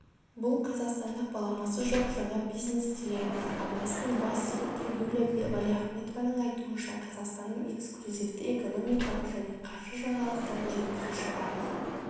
бұл қазақстанда баламасы жоқ жаңа бизнес-телеарна арнасының бас директоры юлия валиахметованың айтуынша қазақстанның эксклюзивті экономикалық және қаржы жаңалықтарын жеткізуші арна